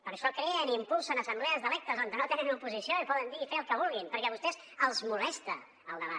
per això creen i impulsen assemblees d’electes on no tenen oposició i poden dir i fer el que vulguin perquè a vostès els molesta el debat